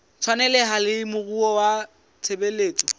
tshwaneleha le moruo wa tshebetso